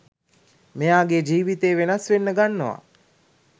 මෙයාගේ ජිවිතේ වෙනස් වෙන්න ගන්නවා.